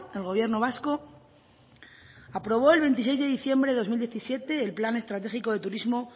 el gobierno vasco aprobó el veintiséis de diciembre de dos mil diecisiete el plan estratégico de turismo